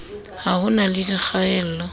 ha ho na le dikgaello